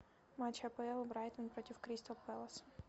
матч апл брайтон против кристал пэлас